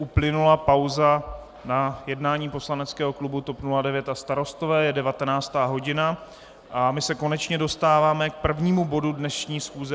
Uplynula pauza na jednání poslaneckého klubu TOP 09 a Starostové, je 19. hodina a my se konečně dostáváme k prvnímu bodu dnešní schůze.